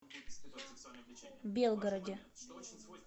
белгороде